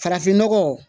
Farafinnɔgɔ